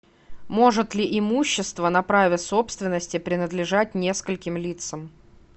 может ли имущество на праве собственности принадлежать нескольким лицам